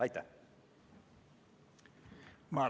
Aitäh!